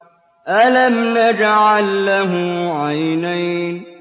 أَلَمْ نَجْعَل لَّهُ عَيْنَيْنِ